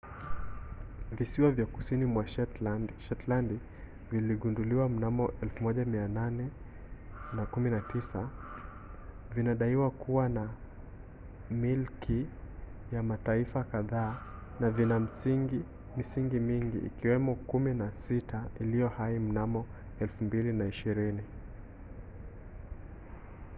visiwa vya kusini mwa shetlandi vilivyogunduliwa mnamo 1819 vinadaiwa kuwa milki ya mataifa kadhaa na vina misingi mingi ikiwemo kumi na sita iliyo hai mnamo 2020